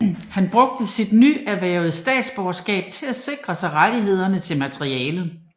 Han brugte sit nyerhvervede statsborgerskab til at sikre sig rettighederne til materialet